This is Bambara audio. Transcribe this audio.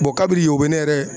kabiri yen o be ne yɛrɛ .